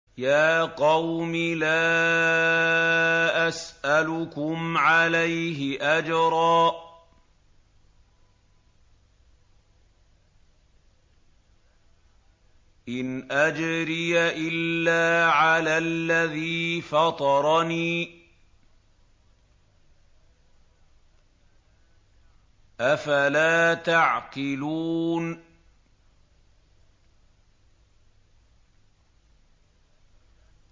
يَا قَوْمِ لَا أَسْأَلُكُمْ عَلَيْهِ أَجْرًا ۖ إِنْ أَجْرِيَ إِلَّا عَلَى الَّذِي فَطَرَنِي ۚ أَفَلَا تَعْقِلُونَ